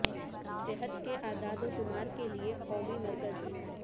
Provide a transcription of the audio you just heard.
صحت کے اعداد و شمار کے لئے قومی مرکز